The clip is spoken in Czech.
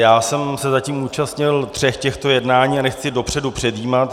Já jsem se zatím účastnil tří těch jednání a nechci dopředu předjímat.